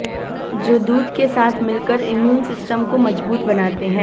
जो दूध के साथ मिलकर इम्यून सिस्टम को मजबूत बनाते हैं